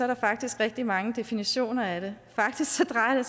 der faktisk rigtig mange definitioner af det faktisk drejer